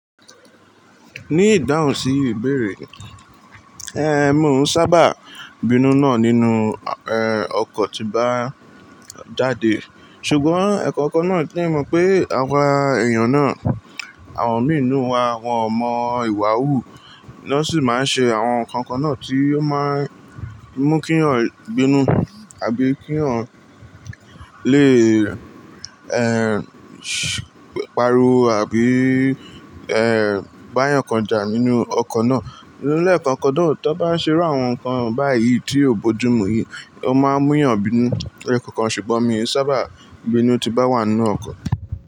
Ní ìdáhùn sí ìbéèrè, ẹh, mò ń sábà bínú náà nínú, ẹh, ọkọ̀ tí bá jáde. Ṣùgbọ́n ẹ̀kọ̀kan náà tí mọ̀ pé àwa èèyàn náà, àwọn mìíràn nínú wa, won mo ìwà wù, wọ́n sì máa ń ṣe àwọn nǹkan kan náà tí ó máa ń mú kí eyan bínú àbí kí eyan lè, ẹh, pariwo àbí, ẹh, bá yàn kan jà nínú ọkọ̀ náà. Ni eekan kan náà, tó bá ń ṣe irú àwọn nǹkan báyìí tí ò bojú mu yìí, ó máa ń múyàn bínú leekọ̀kan. Ṣùgbọ́n mi ò sábà bínú tí bá wà nínú ọkọ̀.